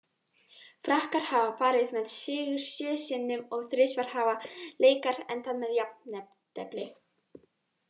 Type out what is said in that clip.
Frakkar hafa farið með sigur sjö sinnum og þrisvar hafa leikar endað með jafntefli.